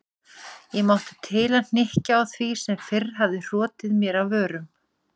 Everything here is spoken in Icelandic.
Ég mátti til að hnykkja á því sem fyrr hafði hrotið mér af vörum